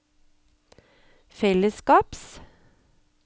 fellesskaps